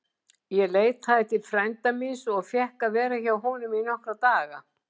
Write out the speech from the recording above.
Ég leitaði til frænda míns og fékk að vera hjá honum í nokkra daga.